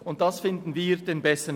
Dieser Vergleich scheint uns besser.